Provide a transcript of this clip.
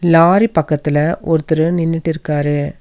Lorry பக்கத்துல ஒருத்தரு நின்னுட்டு இருக்காரு.